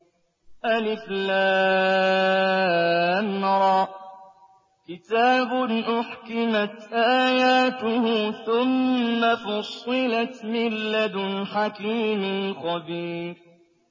الر ۚ كِتَابٌ أُحْكِمَتْ آيَاتُهُ ثُمَّ فُصِّلَتْ مِن لَّدُنْ حَكِيمٍ خَبِيرٍ